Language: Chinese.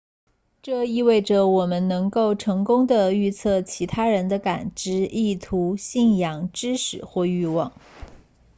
这意味着我们能够成功地预测其他人的感知意图信仰知识或欲望